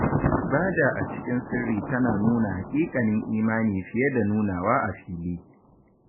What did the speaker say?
Ibada a cikin sirri tana nuna haƙiƙanin imani fiye da nunawa a fili.